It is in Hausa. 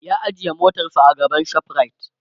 ya ajiye motarsa a gaban shoprite